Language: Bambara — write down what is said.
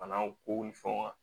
Banaw ko ni fɛnw kan